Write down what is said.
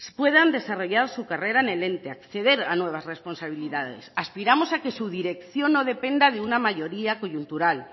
puedan desarrollar su carrera en el ente acceder a nuevas responsabilidades aspiramos a que su dirección no dependa de una mayoría coyuntural